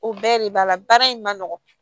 O bɛɛ de b'a la baara in ma nɔgɔn